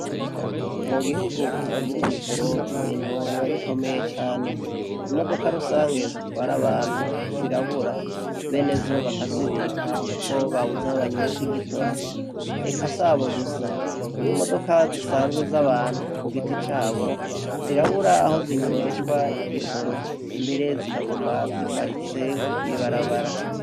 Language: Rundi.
Mu gihugu kitagira igitoro, ibintu biba bukomeye cane. Imodoka rusange zitwara abantu zirabura. Benezo bakazibika kuko babuze aha banywesha igitoro. Eka sabo gusa, n'imodoka zisanzwe z'abantu kugiti cabo zirabur'aho zinyweshwa igitoro mbere zikaguma ziparitse mw'ibarabara.